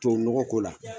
Tubabu nɔgɔ ko la